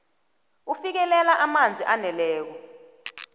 ufikelela amanzi aneleko